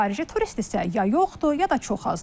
Xarici turist isə ya yoxdur, ya da çox azdır.